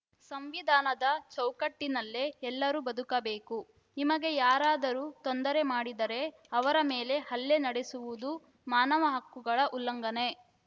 ಸಂವಿಧಾನದ ಚೌಕಟ್ಟಿನಲ್ಲೇ ಎಲ್ಲರೂ ಬದುಕಬೇಕು ನಿಮಗೆ ಯಾರಾದರೂ ತೊಂದರೆ ಮಾಡಿದರೆ ಅವರ ಮೇಲೆ ಹಲ್ಲೆ ನಡೆಸುವುದು ಮಾನವ ಹಕ್ಕುಗಳ ಉಲ್ಲಂಘನೆ